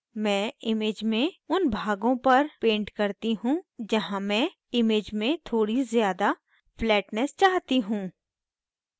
मैं image में उन भागों पर paint करती हूँ जहाँ मैं image में थोड़ी ज़्यादा flatness चाहती हूँ